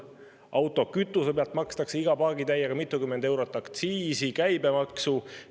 Autokütuse pealt makstakse iga paagitäiega mitukümmend eurot aktsiisi ja käibemaksu.